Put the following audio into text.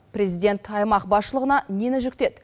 президент аймақ басшылығына нені жүктеді